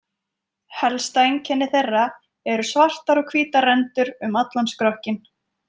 Helsta einkenni þeirra eru svartar og hvítar rendur um allan skrokkinn.